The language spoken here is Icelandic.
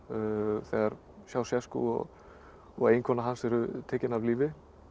þegar Ceausescu og eiginkona hans eru tekin af lífi